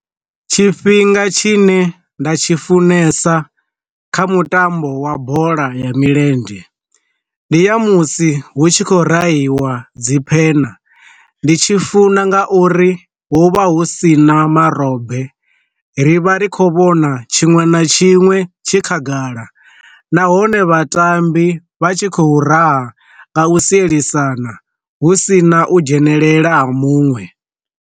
Tshifhinga tshi ne nda tshi funesa kha mutambo wa bola ya milenzhe, ndi ya musi hu tshi khou rahiwa dzi phena, ndi tshi funa nga uri hu vha hu sina marobe, ri vha ri kho vhona tshiṅwe na tshiṅwe tshi khagala nahone vhatambi vha tshi khou raha nga u sielisana hu sina u dzhenelela ha muṅwe.